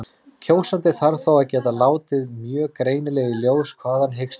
Kjósandi þarf þá að geta látið mjög greinilega í ljós hvað hann hyggst kjósa.